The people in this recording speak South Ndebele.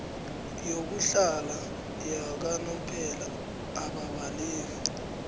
yokuhlala yakanomphela ababaleki